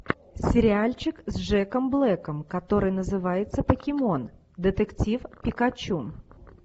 сериальчик с джеком блэком который называется покемон детектив пикачу